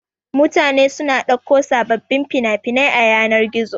Mutane suna ɗauko sababbin fina-finai a yanar-gizo.